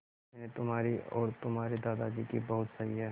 मैंने तुम्हारी और तुम्हारे दादाजी की बहुत सही